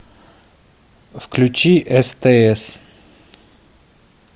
включи стс